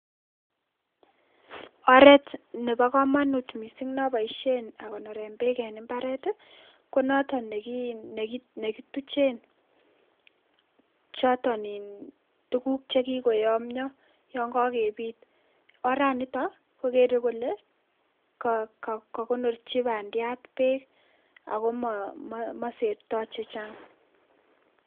Oret nepokomonut missing neaboisien akonoren beek en mbaret konoton nekituchen choton iin tukuk chekikoamio yongokepit oranitok kokere kole kokonorchi bandiat beek ako moserto che chang'.